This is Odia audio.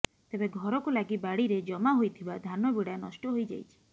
ତେବେ ଘରକୁ ଲାଗି ବାଡ଼ିରେ ଜମା ହୋଇଥିବା ଧାନ ବିଡ଼ା ନଷ୍ଟ ହୋଇଯାଇଛି